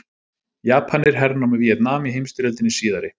Japanir hernámu Víetnam í heimsstyrjöldinni síðari.